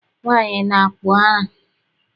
Nwaanyị na-akpụ ara.